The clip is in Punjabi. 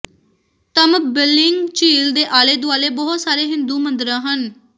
ਤਮਬਲਿੰਗ ਝੀਲ ਦੇ ਆਲੇ ਦੁਆਲੇ ਬਹੁਤ ਸਾਰੇ ਹਿੰਦੂ ਮੰਦਰਾਂ ਹਨ